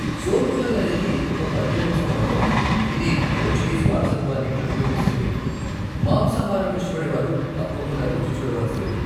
సోర్పోటెల్ అనేది ఒక పంది మాంసం వంటకం, ఇది పోర్చుగీస్ వారసత్వాన్ని ప్రతిబింబిస్తుంది, మాంసాహారం ఇష్టపడేవారు తప్పకుండ రుచి చూడ వలసినది.